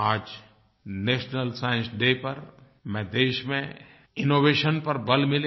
आज national science day पर देश में इनोवेशन पर बल मिले